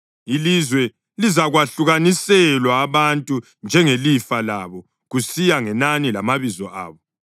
“Ilizwe lizakwahlukaniselwa abantu njengelifa labo kusiya ngenani lamabizo abo.